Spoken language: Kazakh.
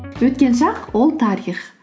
өткен шақ ол тарих